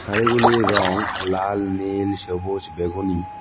শাড়িগুলির রঙ লাল নীল সবুজ বেগুনি।